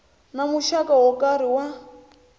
na muxaka wo karhi wa